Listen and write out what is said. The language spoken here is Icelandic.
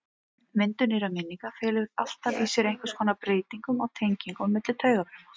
Myndun nýrra minninga felur alltaf í sér einhvers konar breytingu á tengingum á milli taugafruma.